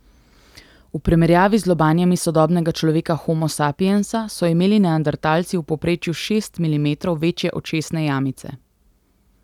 V primerjavi z lobanjami sodobnega človeka homo sapiensa so imeli neandertalci v povprečju šest milimetrov večje očesne jamice.